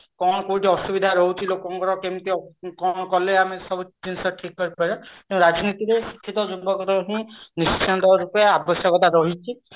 କଣ କୋଉଠି ଅସୁବିଧା ରହୁଛି ଲୋକଙ୍କର କେମିତି କଣ କଲେ ଆମେ ସବୁ ଜିନିଷ ଠିକ କରିପାରିବା ରାଜନୀତିରେ ଶିକ୍ଷିତ ଯୁବକଙ୍କର ହିଁ ନିଶ୍ଚିନ୍ତ ରୂପେ ଆବଶ୍ୟକତା ରହିଛି